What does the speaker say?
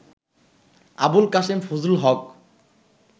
Abul Kashem Fazlul Haque